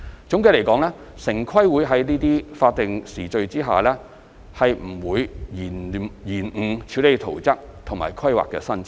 總的來說，城規會在這些法定時序下不可能延誤處理圖則和規劃申請。